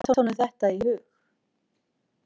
En hvernig datt honum þetta í hug?